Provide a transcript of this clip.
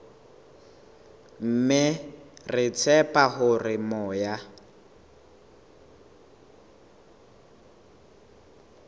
mme re tshepa hore moya